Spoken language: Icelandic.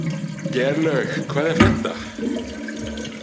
Geirlaug, hvað er að frétta?